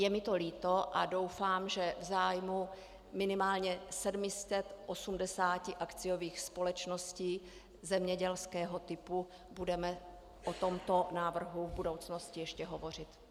Je mi to líto a doufám, že v zájmu minimálně 780 akciových společností zemědělského typu budeme o tomto návrhu v budoucnosti ještě hovořit.